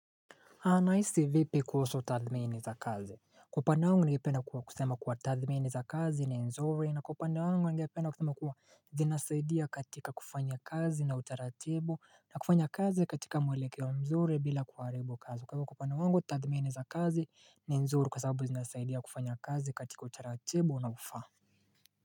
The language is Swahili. Anahisi vipi kuhusu tathmini za kazi. Kwa upande wangu ningependa kusema kuwa tathmini za kazi ni nzuri na kwa upande wangu ningependa kusema kuwa zinasaidia katika kufanya kazi na utaratibu na kufanya kazi katika mwelekeo wa mzuri bila kuharibu kazi. Kwa hivyo kwa upande wangu tathmini za kazi ni nzuri kwa sababu zinasaidia kufanya kazi katika utaratibu unaofaa.